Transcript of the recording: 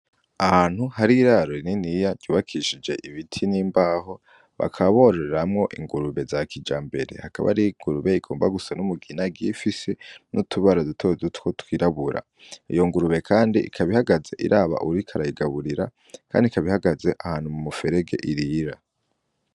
Ahantu hari iraro rininiya ryubakishije ibiti n'imbaho bakabororamwo ingurube za kija mbere hakaba aringurube igomba gusa n'umugina gifise n'utubara duto dutwo twirabura iyo ngurube, kandi ikabihagaze iraba urikarayigaburira, kandi ikabihagaze ahantu mu muferege irira.